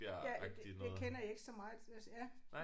Ja det det kender jeg ikke så meget det også ja